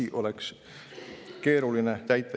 Üksi oleks keeruline seda kõike teha.